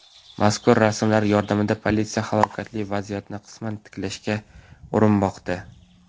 Mazkur rasmlar yordamida politsiya halokatli vaziyatni qisman tiklashga urinmoqda.